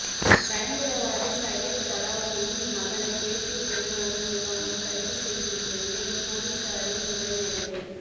பயங்கரவாதி சையத் சலாவுதீனின் மகனை தேசிய புலனாய்வு முகமை கைது செய்துள்ள நிலையில் போலீசாரின் உறவினர்களை